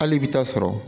Hali i bi taa sɔrɔ